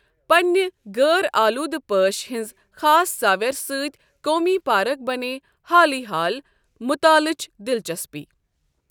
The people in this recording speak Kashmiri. پننِہ غٲر آلوٗدٕ پٲش ہنٛز خاص ساوٮ۪ر سۭتۍ قومی پارک بَنے حالٕے حال مُطالٕچ دلچسپی۔